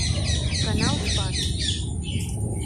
канал спас